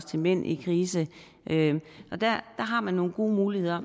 til mænd i krise der har man nogle gode muligheder